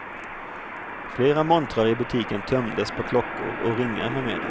Flera montrar i butiken tömdes på klockor och ringar med mera.